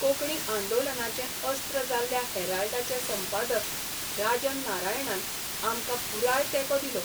कोंकणी आंदोलनाचें अस्त्र जाल्ल्या 'हॅराल्डा'चे संपादक राजन नारायणान आमकां पुराय तेंको दिलो.